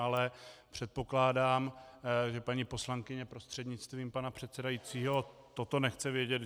Ale předpokládám, že paní poslankyně prostřednictvím pana předsedajícího toto nechce vědět.